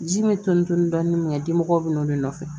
Ji min bɛ to ni dɔɔnin min kɛ dimɔgɔw bɛ n'o de nɔfɛ